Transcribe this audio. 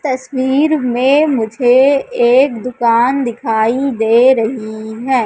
तस्वीर में मुझे एक दुकान दिखाई दे रही है।